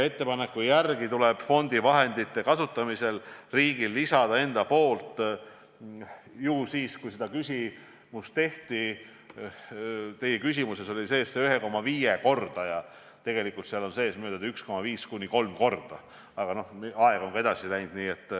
Ettepaneku järgi tuleb fondi vahendite kasutamisel lisada riigil endal 1,5–3-kordne panus.